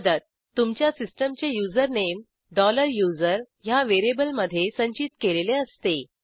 मदत तुमच्या सिस्टीमचे युजरनेम USER ह्या व्हेरिएबलमधे संचित केलेले असते